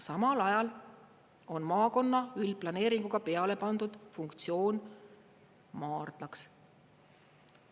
Samal ajal on maakonna üldplaneeringuga peale pandud funktsioon maardlaks.